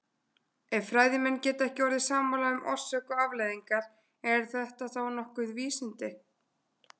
Ef fræðimenn geta ekki orðið sammála um orsök og afleiðingar, eru þetta þá nokkuð vísindi?